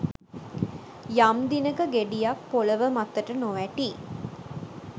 යම් දිනක ගෙඩියක් පොලව මතට නොවැටී